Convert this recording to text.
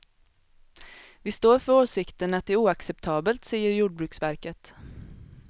Vi står för åsikten att det är oacceptabelt, säger jordbruksverket.